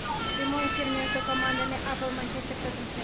прямой эфир между командами апл манчестер тоттенхэм